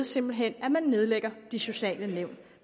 simpelt hen nedlægger de sociale nævn